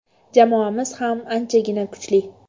Jamoamiz ham anchagina kuchli.